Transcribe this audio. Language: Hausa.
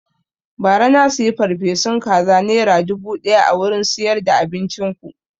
Ba ra na siya farfesun kaza nera dubu ɗaya a wurin siyar da abincin ku